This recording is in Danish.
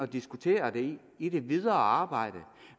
diskutere det i det videre arbejde